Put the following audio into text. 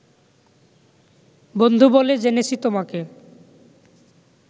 বন্ধু বলে জেনেছি তোমাকে